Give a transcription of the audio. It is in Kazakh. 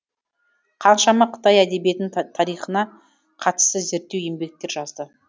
қаншама қытай әдебиетінің тарихына қатысты зерттеу еңбектер жазды